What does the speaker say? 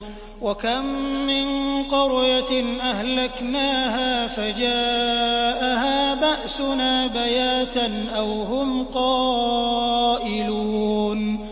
وَكَم مِّن قَرْيَةٍ أَهْلَكْنَاهَا فَجَاءَهَا بَأْسُنَا بَيَاتًا أَوْ هُمْ قَائِلُونَ